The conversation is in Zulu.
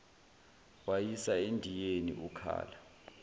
wayisa endiyeni ukhala